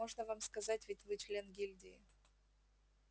можно вам сказать ведь вы член гильдии